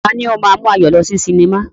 Tani ó máa ń mú Ayọ̀ lọ sí cinema?